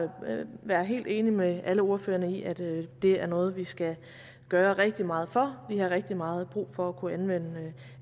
være helt enig med alle ordførerne i at det er noget vi skal gøre rigtig meget for vi har rigtig meget brug for at kunne anvende